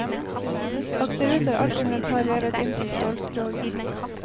Akterut er alt inventar revet inn til stålskroget.